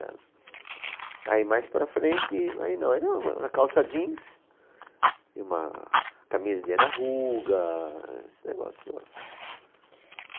Aí mais para frente, aí não, era uma uma calça jeans e uma camisa de anarruga, esse negócio todo.